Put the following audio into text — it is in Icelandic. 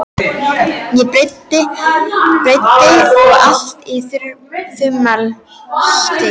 á breidd og allt að þumlungsþykkir.